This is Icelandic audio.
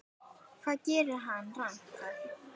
Hvað gerði hann rangt þar?